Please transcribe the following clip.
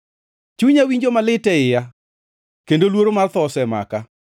Chunya winjo malit e iya kendo luoro mar tho osemaka.